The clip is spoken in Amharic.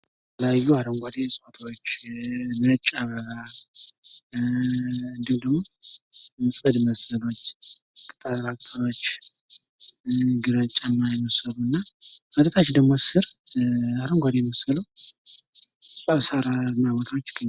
የተለያዩ አረንጓዴ እጽዋቶች ፣ ነጭ አበባ፣ እንዲሁም ደሞ ጽድ መሰሎች ፣ ቅጠል መሰሎች ፣ ግራጫማ የመሰሉ እና ወደታች ደሞ ስር አረንጓዴ የመሰሉ ብዙ ሳራማ ቦታዎች ይገኛሉ።